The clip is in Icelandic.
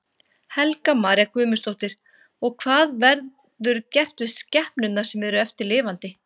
Helga María Guðmundsdóttir: Og hvað verður gert við skepnurnar sem eru eftir lifandi?